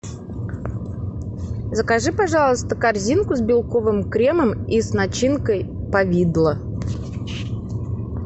закажи пожалуйста корзинку с белковым кремом и с начинкой повидло